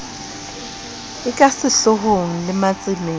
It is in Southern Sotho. e kasehloohong le matsemeng a